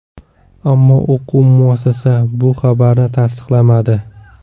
Ammo o‘quv muassasa bu xabarni tasdiqlamadi.